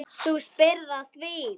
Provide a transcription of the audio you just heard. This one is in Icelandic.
Þú spyrð að því.